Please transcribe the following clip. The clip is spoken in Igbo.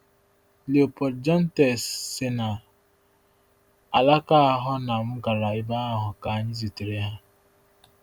Léopold Jontès si na alaka ahụ na m gara ebe ahụ ka anyị zutere ha.